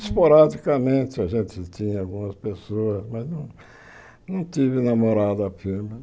Esporadicamente a gente tinha algumas pessoas, mas não tive namorada firme.